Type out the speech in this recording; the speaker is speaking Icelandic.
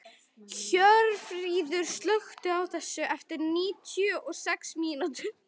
Hjörfríður, slökktu á þessu eftir níutíu og sex mínútur.